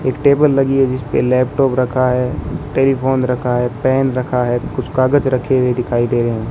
एक टेबल लगी है जिसपे लैपटॉप रखा है टेलीफोन रखा है पेन रखा है कुछ कागज रखे हुए दिखाई दे रहे --